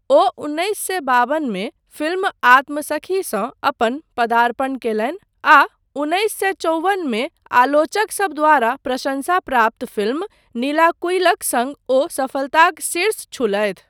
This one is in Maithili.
ओ उन्नैस सए बावनमे फिल्म आत्मसखीसँ अपन पदार्पण कयलनि आ उन्नैस सए चौबन मे आलोचकसब द्वारा प्रशंसा प्राप्त फिल्म नीलाकुयिलक सङ्ग ओ सफलताक शीर्ष छूलथि।